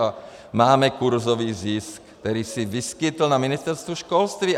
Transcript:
A máme kurzový zisk, který se vyskytl na Ministerstvu školství.